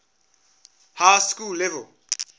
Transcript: high school level